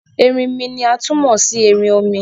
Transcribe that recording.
Ẹrìnmí ni a tún mó sí ẹ̀ṣin-òmì.